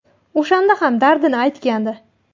O‘shanda ham dardini aytgandi.